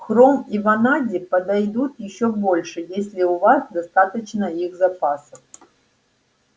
хром и ванадий подойдут ещё больше если у вас достаточно их запасов